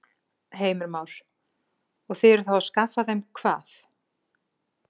Heimir Már: Og þið eruð þá að skaffa þeim hvað?